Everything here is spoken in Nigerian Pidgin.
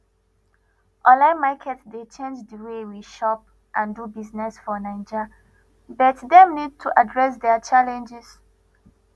online market dey change di way we shop and do business for naija but dem need to address dia challenges